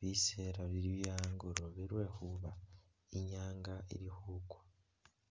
bisela bili bye'angoloobe lwekhuba inyanga ili khukwa